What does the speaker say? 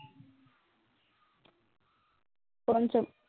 পঞ্চম